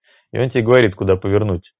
и он тебе говорит куда повернуть